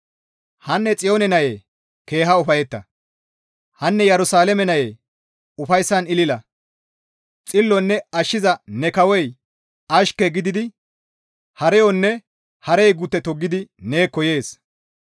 Hanne Xiyoone nayee keeha ufayetta. Hanne Yerusalaame nayee ufayssan ilila; xillonne ashshiza ne kawoy ashke gididi hareyonne harey gutte toggidi neekko yees.